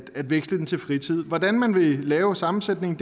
veksler den til fritid hvordan man vil lave sammensætningen